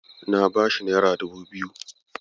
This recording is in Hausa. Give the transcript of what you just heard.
Na bashi naira dubu biyu.